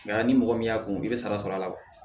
ni mɔgɔ min y'a kun i bɛ sara sɔrɔ a la